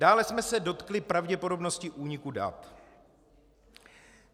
Dále jsme se dotkli pravděpodobnosti úniku dat.